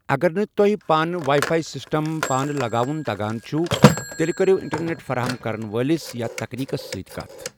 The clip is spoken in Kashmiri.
اگر نہٕ تُہۍ پانہٕ واے فاے سِسٹم پانہٕ لگاوُن تگان چُھو ،تیٚلہِ كٔرِو انٹرنیٹ فراہم كرن وٲلِس یا تكنیکس سٕتۍ كتھ ۔